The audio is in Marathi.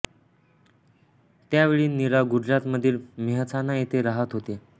त्यावेळी नीरा गुजरात मधील मेहसाणा येथे राहात होत्या